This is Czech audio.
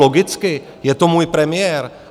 Logicky, je to můj premiér!